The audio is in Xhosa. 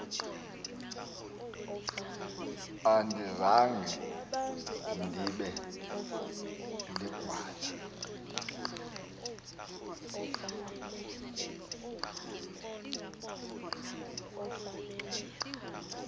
andizanga ndibe ligwala